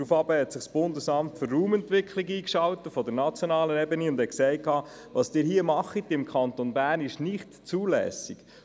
Daraufhin schaltete sich das Bundesamt für Raumentwicklung (ARE) auf nationaler Ebene ein und wertete die Praxis des Kantons Bern als nicht zulässig.